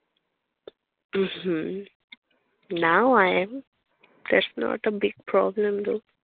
নিশ্চয়ই। now i'm that's not a big problem girl